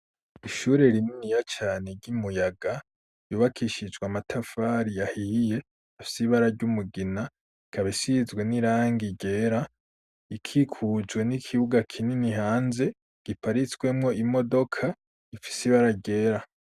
Ishure rinini yo cane ry'umuyaga yubakishijwe amatafari yahiye afsibara ry'umugina kabisizwe n'irange gera ikikujwe n'ikibuga kinini hanze giparitswemwo imodoka ifisibara gera.